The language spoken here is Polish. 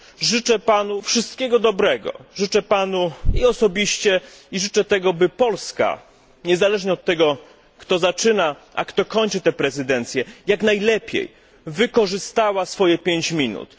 Życzę Panu wszystkiego dobrego, życzę Panu samemu, i życzę tego by Polska, niezależnie od tego, kto zaczyna, a kto kończy tę prezydencję, jak najlepiej wykorzystała swoje 5 minut.